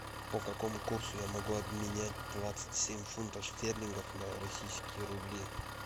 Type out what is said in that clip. по какому курсу я могу обменять двадцать семь фунтов стерлингов на российские рубли